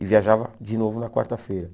E viajava de novo na quarta-feira.